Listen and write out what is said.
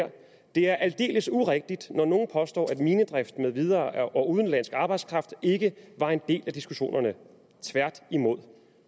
det er aldeles urigtigt når nogen påstår at minedrift med videre og udenlandsk arbejdskraft ikke var en del af diskussionerne tværtimod